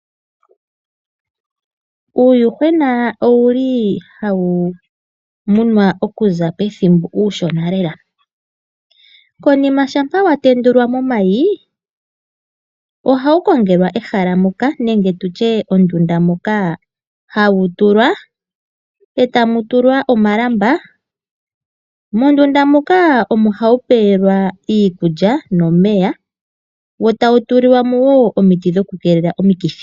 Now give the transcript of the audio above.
Uuyuhwena owuli hawu munwa okuza pethimbo uushona lela konima shampa wa tendulwa momayi ohawu kongelwa ehala moka nenge tutye ondunda moka hawu tulwa, etamu tulwa omalamba. Mondunda muka omo hawu pewelwa iikulya nomeya wo tawu tulilwa mo wo omiti dhoku keelela omikithi.